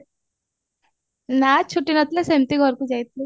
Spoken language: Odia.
ନାଁ ଛୁଟି ନଥିଲା ସେମତି ଘରକୁ ଯାଇଥିଲୁ